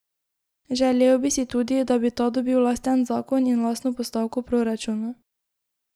Želel bi si tudi, da bi ta dobil lasten zakon in lastno postavko v proračunu.